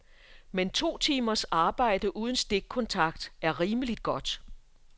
Men to timers arbejde uden stikkontakt er rimeligt godt.